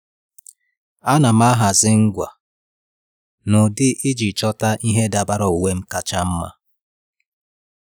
À nà m ahazị ngwa n’ụ́dị́ iji chọ́ta ìhè dabara uwe m kacha mma.